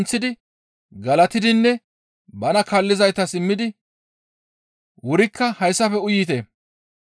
Qasseka ushshaa denththidi galatidinne bana kaallizaytas immidi, «Wurikka hayssafe uyite;